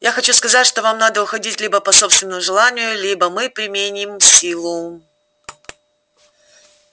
я хочу сказать что вам надо уходить либо по собственному желанию либо мы применим силу